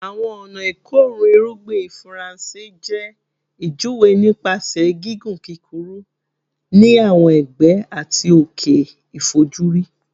Awọn ọna ikorun irugbin Faranse jẹ ijuwe nipasẹ gigun kukuru ni awọn ẹgbẹ ati oke ifojuri